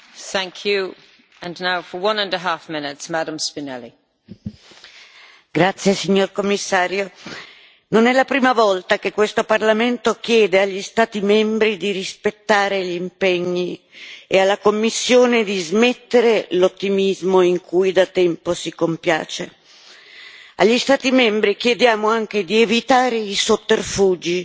Signora Presidente, onorevoli colleghi, signor Commissario, non è la prima volta che questo Parlamento chiede agli Stati membri di rispettare gli impegni e alla Commissione di smettere l'ottimismo in cui da tempo si compiace. Agli Stati membri chiediamo anche di evitare i sotterfugi,